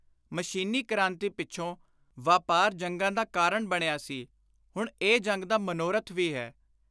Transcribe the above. ਮਸ਼ੀਨੀ ਕ੍ਰਾਂਤੀ ਪਿੱਛੋਂ ਵਾਪਾਰ ਜੰਗਾਂ ਦਾ ਕਾਰਣ ਬਣਿਆ ਸੀ, ਹੁਣ ਇਹ ਜੰਗ ਦਾ ਮਨੋਰਥ ਵੀ ਹੈ।